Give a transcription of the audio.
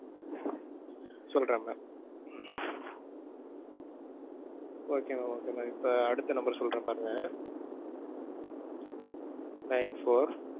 சொல்றேன் mam. okay mam, okay mam. இப்ப அடுத்த number சொல்றேன் பாருங்க nine-four.